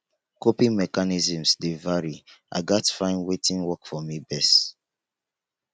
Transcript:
coping mechanisms dey vary i gats find wetin work for me best